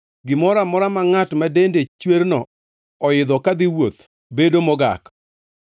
“ ‘Gimoro amora ma ngʼat ma dende chwerno oidho kadhi wuoth bedo mogak,